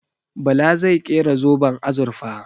Bala zai kera zoben azurfa.